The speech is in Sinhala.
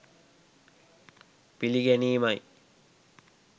පිළිගැනීමයි.